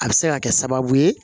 A bɛ se ka kɛ sababu ye